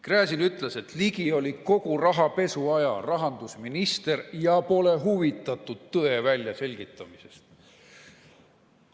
Gräzin ütles, et Ligi oli kogu rahapesu aja rahandusminister ja pole huvitatud tõe väljaselgitamisest.